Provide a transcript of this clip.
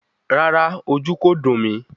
Rárá, ojú kò dùn mí